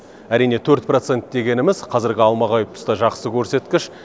әрине төрт процент дегеніміз қазіргі алмағайып тұста жақсы көрсеткіш